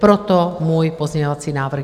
Proto můj pozměňovací návrh.